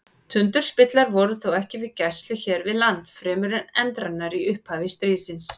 Tundurspillar voru þó ekki við gæslu hér við land fremur en endranær í upphafi stríðsins.